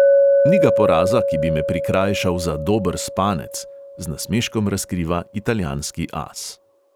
"Ni ga poraza, ki bi me prikrajšal za dober spanec," z nasmeškom razkriva italijanski as.